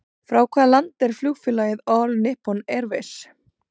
Frá hvaða landi er flugfélagið All Nippon Airways?